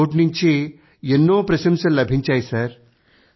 ప్రతి చోట నుంచీ ఎన్నో ప్రశంసలు లభించాయి